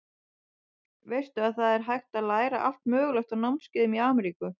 Veistu að það er hægt að læra allt mögulegt á námskeiðum í Ameríku.